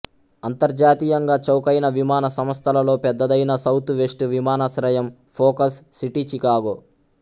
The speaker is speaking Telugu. అంతర్జాతీయంగా చౌకైన విమాన సంస్థలలో పెద్దదైన సౌత్ వెస్ట్ విమానాశ్రయం ఫోకస్ సిటీ చికాగో